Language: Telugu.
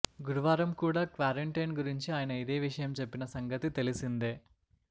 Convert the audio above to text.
గురువారం కూడా క్వారంటైన్ గురించి ఆయన ఇదే విషయం చెప్పిన సంగతి తెలిసిందే